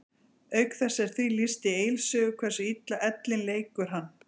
Auk þess er því lýst í Egils sögu hversu illa ellin leikur hann.